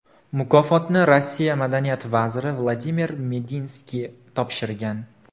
Mukofotni Rossiya madaniyat vaziri Vladimir Medinskiy topshirgan.